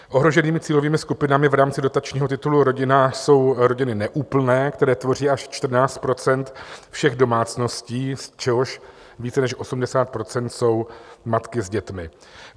Ohroženými cílovými skupinami v rámci dotačního titulu Rodina jsou rodiny neúplné, které tvoří až 14 % všech domácností, z čehož více než 80 % jsou matky s dětmi.